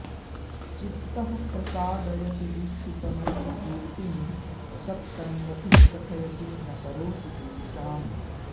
चित्तः प्रसादयति दिक्षु तनोति कीर्तिं सत्सङ्गतिः कथय किं न करोति पुंसाम्